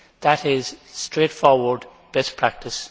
That is straightforward best practice.